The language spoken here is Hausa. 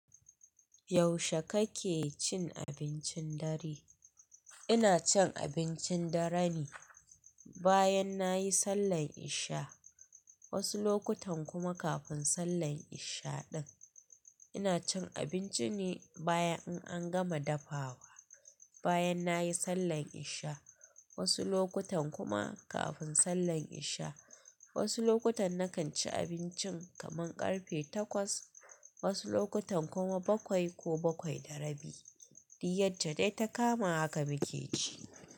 Yaushe kake cin abincin dare? Ina cin abincin dare ne bayan nayi sallar isha, wasu lokutan kuma kafin sallar isha ɗin. Ina cin abinci ne bayan in an gama dafawa, bayan nayi sallar isha wasu lokutan kuma kafin sallar isha. Wasu lokutan nakan ci abincin kaman ƙarfe takwas, wasu lokutan kuma bakwai ko bakwai da rabi. Duk yacce dai ta kama haka muke ci.